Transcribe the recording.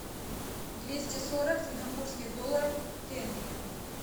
двести сорок сингапурских долларов в тенге